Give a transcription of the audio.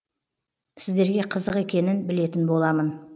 сіздерге қызық екенін білетін боламын